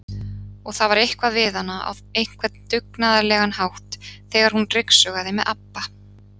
Og það var eitthvað við hana á einhvern dugnaðarlegan hátt þegar hún ryksugaði með ABBA